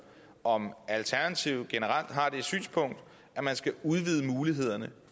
om alternativet generelt har det synspunkt at man skal udvide mulighederne